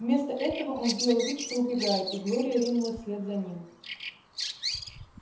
вместо этого он сделал вид что убегает и глория ринулась вслед за ним